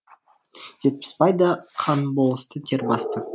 жетпісбайды қан болысты тер басты